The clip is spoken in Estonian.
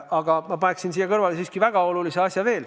Aga ma paneksin siia kõrvale veel ühe väga olulise asja.